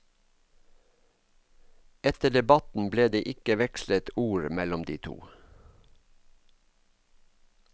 Etter debatten ble det ikke vekslet ord mellom de to.